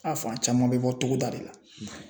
A fan caman bɛ bɔ togoda de la